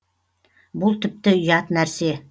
бұл тіпті ұят нәрсе